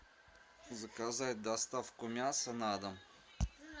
заказать доставку мяса на дом